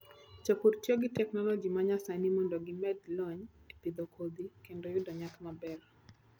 Jopur tiyo gi teknoloji ma nyasani mondo gimed lony e pidho kodhi kendo yudo nyak maber.